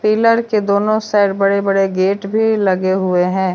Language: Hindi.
पिलर के दोनों साइड बड़े बड़े गेट भी लगे हुए हैं।